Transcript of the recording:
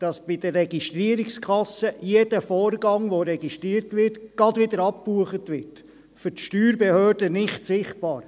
Diese Software macht, dass bei der Registrierkasse jeder registrierte Vorgang gleich wieder abgebucht wird – für die Steuerbehörden nicht sichtbar.